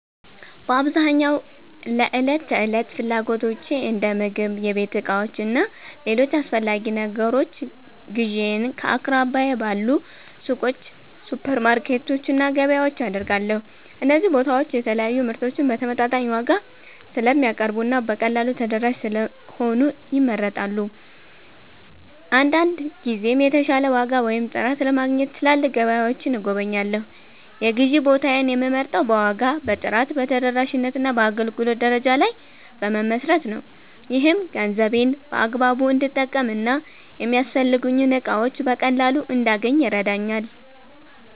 በአብዛኛው ለዕለት ተዕለት ፍላጎቶቼ እንደ ምግብ፣ የቤት ዕቃዎች እና ሌሎች አስፈላጊ ነገሮች ግዢዬን ከአቅራቢያዬ ባሉ ሱቆች፣ ሱፐርማርኬቶች እና ገበያዎች አደርጋለሁ። እነዚህ ቦታዎች የተለያዩ ምርቶችን በተመጣጣኝ ዋጋ ስለሚያቀርቡ እና በቀላሉ ተደራሽ ስለሆኑ ይመረጣሉ። አንዳንድ ጊዜም የተሻለ ዋጋ ወይም ጥራት ለማግኘት ትላልቅ ገበያዎችን እጎበኛለሁ። የግዢ ቦታዬን የምመርጠው በዋጋ፣ በጥራት፣ በተደራሽነት እና በአገልግሎት ደረጃ ላይ በመመስረት ነው። ይህም ገንዘቤን በአግባቡ እንድጠቀም እና የሚያስፈልጉኝን እቃዎች በቀላሉ እንዳገኝ ይረዳኛል።